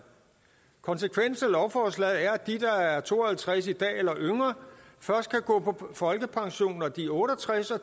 konsekvensen af lovforslaget er at de der er to og halvtreds år i dag eller yngre først kan gå på folkepension når de er otte og tres år